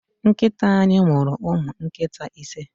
Nkita anyi muru umu nkita ise